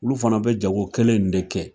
Olu fana bɛ jago kelen in de kɛ